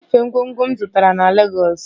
Nyefee ngwongwo m zụtara na Legọs!